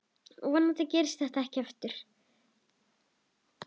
Vonandi gerist þetta ekki aftur.